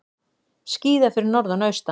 Skíðað fyrir norðan og austan